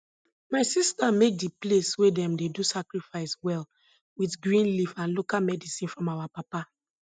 my sister make di place wey dem dey do sacrifice well with green leaf and local medicine from our papa